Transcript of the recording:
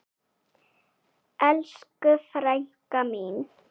Elsku frænka mín.